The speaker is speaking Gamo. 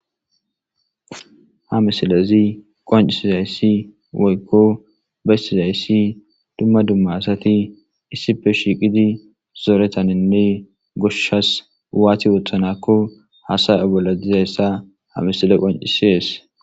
Ha misilezi qoncisizaysi woykon besizaysi duma duma asati issippe shiqidi zoretanine goshas watti othanakon hasaya bolla dizaysi ha misiley qoncises.